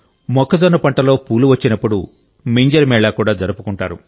మొక్కజొన్నలో పూలు వచ్చినప్పుడు మింజర్ మేళా కూడా జరుపుకుంటారు